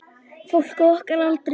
Fólk á okkar aldri.